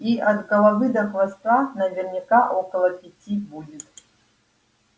и от головы до хвоста наверняка около пяти будет